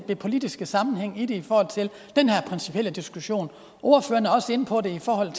politiske sammenhæng i det i forhold til den her principielle diskussion ordføreren er også inde på det i forhold